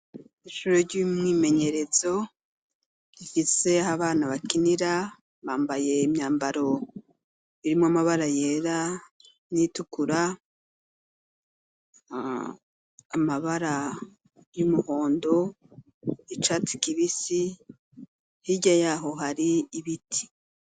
Ishuri ryimyimenyerezo rifise ahabana bakinira bambaye imyamabaro irimwo amabara yera n'itukura, amabara yumuhondo, yicatsi kibisi hirya yaho hari ibiti.